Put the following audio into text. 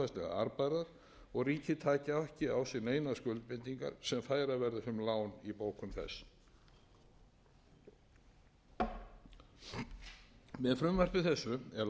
arðbærar og ríkið taki ekki á sig neinar skuldbindingar sem færa verður sem lán í bókum þess með frumvarpi þessu er lagt til að